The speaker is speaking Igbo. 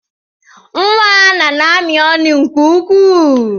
Nwa Anna na-amị ọnụ nke ukwuu.